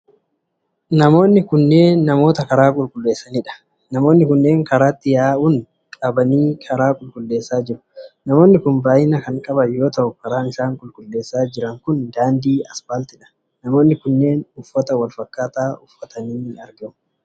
Kunneen namoota karaa qulqulleessanidha. Namooti kunneen karaatti yaa'un qabanii karaa qulqulleessaa jiru. Namooti kun baay'ina kan qaban yoo ta'u, karaan isaan qulqulleessaa jiran kun daandii aspaaltidha. Namoonni kunneen uffata wal fakkaataa uffatanii argamu.